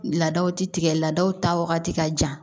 Laadaw ti tigɛ law ta wagati ka jan